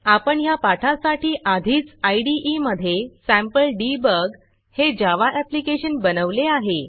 आपण ह्या पाठासाठी आधीच इदे मधे sampleDebugसॅम्पल डिबॉग हे जावा ऍप्लिकेशन बनवले आहे